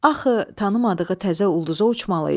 Axı, tanımadığı təzə ulduza uçmalı idi.